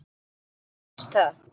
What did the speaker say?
Eða mér finnst það.